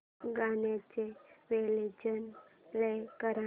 गाण्याचे version play कर